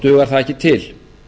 dugar það ekki til